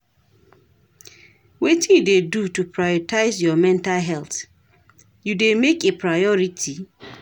wetin you dey do to prioritize your mental health, you dey make a priority?